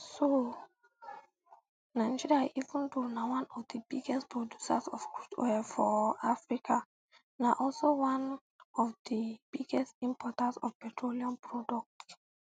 so nigeria even though na one of di biggest producers of crude oil for um africa na also one um of di biggest importers of petroleum products